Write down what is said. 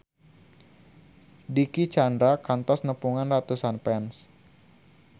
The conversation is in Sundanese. Dicky Chandra kantos nepungan ratusan fans